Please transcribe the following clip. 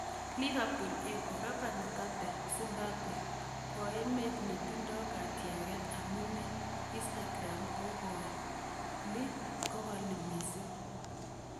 (Liverpool Echo) Robert Mugabe 'Zimbambwe koemet netindo katyangnatet' amune Instagram kokali mising.